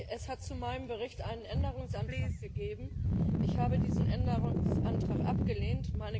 Es hat zu meinem Bericht einen Änderungsantrag gegeben ich habe diesen Änderungsantrag abgelehnt.